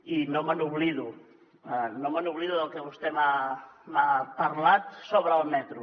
i no me n’oblido no me n’oblido del que vostè m’ha parlat sobre el metro